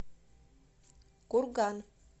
курган